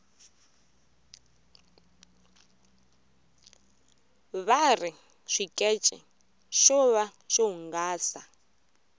vari xikece xo va xo hungasa